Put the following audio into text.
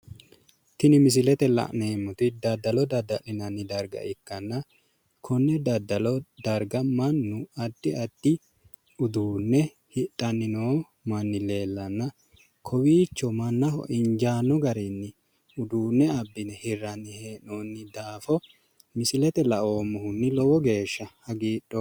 Tini misilete la'neemmoti daddalo dadda'linanni darga ikkanna konne daddalo darga mannu addi addi uduunne hidhanni noo manni leellanna kowiicho mannaho injaanno garinni uduunne hirranni hee'noonni daafo misilete la"ommohunni lowo geeshsha hagidhoommo.